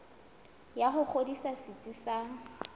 ya ho ngodisa setsi sa